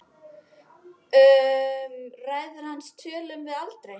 Um ræður hans tölum við aldrei.